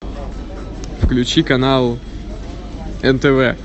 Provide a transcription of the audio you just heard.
включи канал нтв